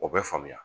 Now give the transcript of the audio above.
O bɛ faamuya